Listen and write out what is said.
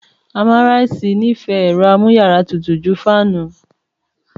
Àmàrisẹ nì fẹ ẹ̀ro àmùyàrà tútú jù fànú